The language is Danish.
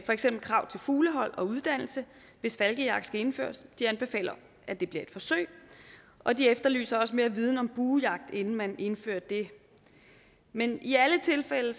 for eksempel krav til fuglehold og uddannelse hvis falkejagt skal indføres de anbefaler at det bliver et forsøg og de efterlyser også mere viden om buejagt inden man indfører det men i alle tilfælde